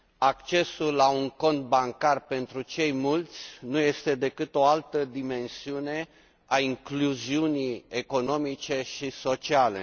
Accesul la un cont bancar pentru cei mulți nu este decât o altă dimensiune a incluziunii economice și sociale.